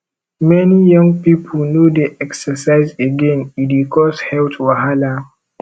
many young pipo no dey exercise again e dey cause health wahala